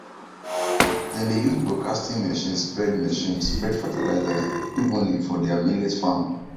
dem dey use broadcasting machine spread machine spread fertilizer evenly for deir millet farm